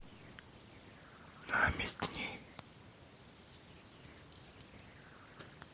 намедни